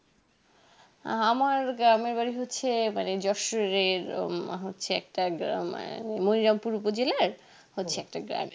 আমার গ্রামের বাড়ি হচ্ছে জোশের আহ হচ্ছে একটা গ্রামে নৈরামপুর বুঝলে হচ্ছে একটা গ্রামে